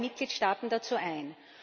Ich lade alle Mitgliedstaaten dazu ein.